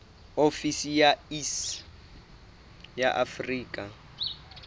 ofisi ya iss ya afrika